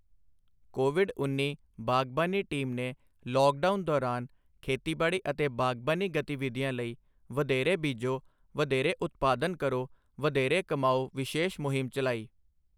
Covid ਉੱਨੀ ਬਾਗ਼ਬਾਨੀ team ਨੇ ਲੌਕਡਾਊਨ ਦੌਰਾਨ ਖੇਤੀਬਾੜੀ ਅਤੇ ਬਾਗ਼ਬਾਨੀ ਗਤੀਵਿਧੀਆਂ ਲਈ ਵਧੇਰੇ ਬੀਜੋ, ਵਧੇਰੇ ਉਤਪਾਦਨ ਕਰੋ, ਵਧੇਰੇ ਕਮਾਓ ਵਿਸ਼ੇਸ਼ ਮੁਹਿੰਮ ਚਲਾਈ।